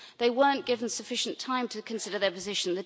They weren't given sufficient time to consider their position.